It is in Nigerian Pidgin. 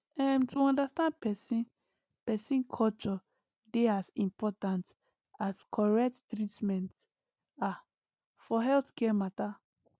um to understand person person culture dey as important as correct treatment ah for healthcare matter